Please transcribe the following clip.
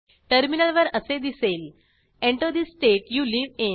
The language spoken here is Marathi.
टर्मिनलवर असे दिसेल Enter the state you live in